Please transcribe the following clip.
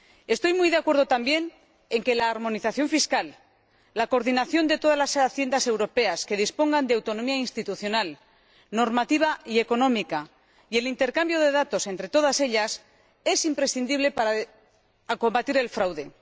Estoy muy de acuerdo también en que la armonización fiscal, la coordinación de todas las haciendas europeas que dispongan de autonomía institucional, normativa y económica, y el intercambio de datos entre todas ellas son imprescindibles para combatir el fraude.